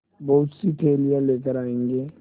बहुतसी थैलियाँ लेकर आएँगे